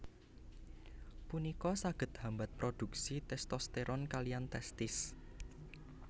Punika saged hambat produksi testosteron kaliyan testis